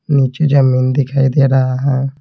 नीचे जमीन दिखाई दे रहा है।